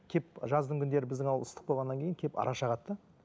кеп жаздың күндері біздің ауылда ыстық болғаннан кейін кеп ара шағады да